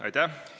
Aitäh!